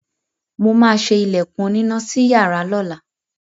Mo máa ṣe ilẹ̀kùn onínà sí iyàrá lọ́la.